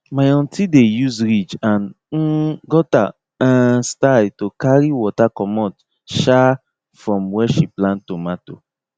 my aunty dey use ridge and um gutter um style to carry water commot um from where she plant tomato